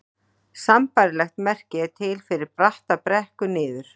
Sambærilegt merki er til fyrir bratta brekku niður.